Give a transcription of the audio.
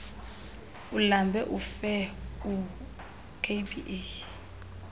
ulambe ufe ukba